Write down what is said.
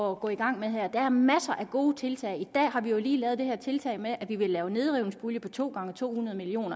at gå i gang med her der er masser af gode tiltag i dag har vi lige lavet det her tiltag med at vi vil lave en nedrivningspulje på to gange to hundrede million